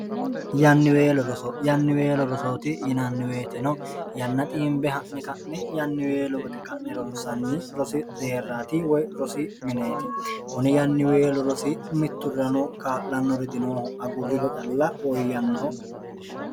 yanniweelo rosoyanniweelo rosooti yinanniweetino yanna xiimbe ha'ne ka'ne yanniweelo wote ka'ne ronsanni rosi deerraati woy rosi mineeti kune yanniweelu rosi mitturrano kaa'lanno re dinooho agurriro calla ooyyannoho